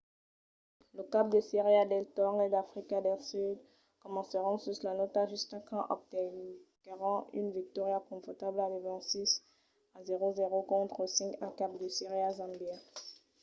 los caps de sèria del torneg d’africa del sud comencèron sus la nòta justa quand obtenguèron una victòria confortabla de 26 a 00 contra la 5a cap de sèria zambia